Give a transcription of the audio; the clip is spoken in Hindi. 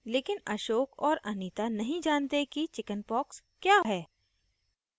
लेकिन ashok और anita नहीं जानते कि chickenpox चेचक क्या होती हैं